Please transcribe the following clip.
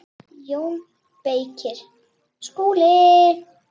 JÓN BEYKIR: Skúli!